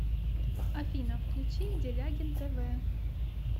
афина включи делягин тэ вэ